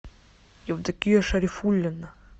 евдокия шарифуллина